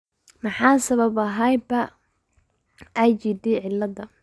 Maxaa sababa hyper IgD ciilada.